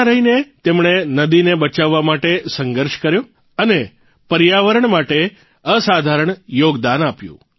ત્યાં રહીને તેમણે નદીને બચાવવા માટે સંઘર્ષ કર્યો અને પર્યાવરણ માટે અસાધારણ યોગદાન આપ્યું